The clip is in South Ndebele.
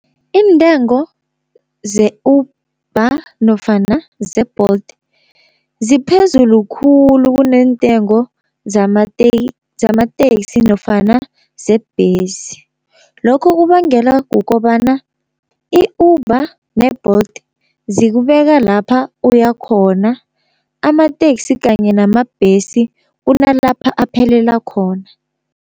Iintengo ze-Uber nofana ze-Bolt ziphezulu khulu kuneentengo zamateksi nofana zebhesi, lokho kubangela kukobana i-Uber ne-Bolt zikubeka lapha uyakhona, amateksi kanye namabhesi kunalapha aphelela khona.